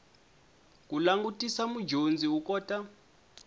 ku langutisa mudyondzi u kota